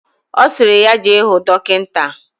Osiri ya jee huu dokita.